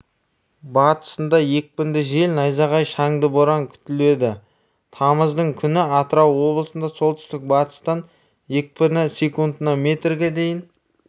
батысында екпінді жел найзағай шаңды боран күтіледі тамыздың күні атырау облысында солтүстік-батыстан екпіні секундына метрге дейін